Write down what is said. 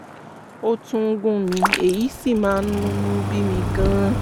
ó tún ń gún mi èyí sì máa ń múnú bí mi gan-an